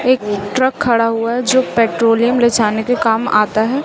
एक ट्रक खड़ा हुआ है जो पेट्रोलियम ले जाने के काम आता है।